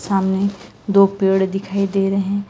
सामने दो पेड़ दिखाई दे रहे--